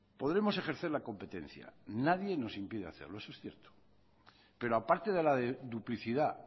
podemos ejercer la competencia nadie nos impide hacerlo eso es cierto pero a parte de la duplicidad